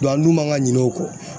an dun man ka ɲin'o kɔ .